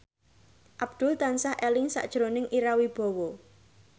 Abdul tansah eling sakjroning Ira Wibowo